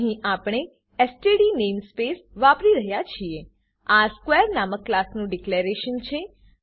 અહીં આપણે STD namespace STD namespace વાપરી રહ્યા છીએ આ સ્ક્વેર નામક ક્લાસનું ડીકલેરેશન છે